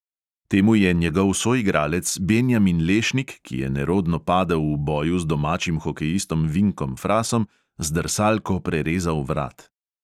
Temu je njegov soigralec benjamin lešnik, ki je nerodno padel v boju z domačim hokejistom vinkom frasom, z drsalko prerezal vrat.